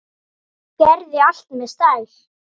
Gerði allt með stæl.